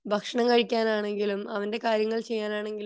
ഭക്ഷണം കഴിക്കാനാണെങ്കിലും അവന്റെ കാര്യങ്ങൾ ചെയ്യാനാണെങ്കിലും